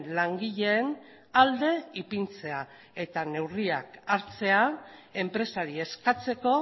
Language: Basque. langileen alde ipintzea eta neurriak hartzea enpresari eskatzeko